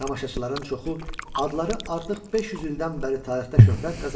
Tamaşaçıların çoxu adları artıq 500 ildən bəri tarixdə şöhrət qazanmışdı.